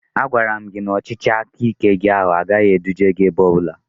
A gwaram gị na ọchịchị aka ike gị ahụ agaghị eduje gị ebe ọbụla